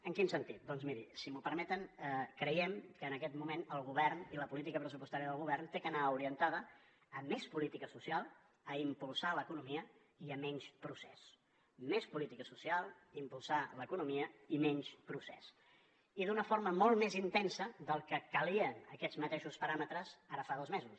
en quin sentit doncs miri si m’ho permeten creiem que en aquest moment el govern i la política pressupostària del govern han d’anar orientats a més política social a impulsar l’economia i a menys procés més política social impulsar l’economia i menys procés i d’una forma molt més intensa del que calia amb aquests mateixos paràmetres ara fa dos mesos